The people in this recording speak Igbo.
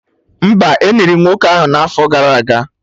Mba, Eniri nwoke ahụ n'afọ gara aga